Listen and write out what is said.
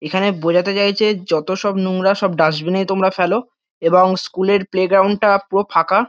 এখানে বোঝাতে চাইছে যত সব নোংরা সব ডাস্টবিন এই তোমরা ফেলো এবং স্কুল -এর প্লে গ্রাউন্ড -টা পুরো ফাকা।